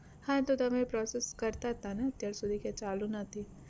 હા તો તમે process કરતાતા ને અત્યાર સુધી કે ચાલુ નથી